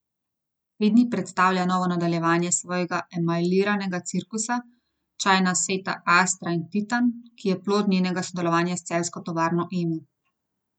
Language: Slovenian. Te dni predstavlja novo nadaljevanje svojega emajliranega cirkusa, čajna seta Astra in Titan, ki je plod njenega sodelovanja s celjsko tovarno Emo.